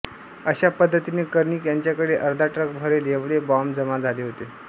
अश्या पद्धतीने कर्णिक यांच्याकडे अर्धा ट्रक भरेल एवढे बॉम्ब जमा झाले होते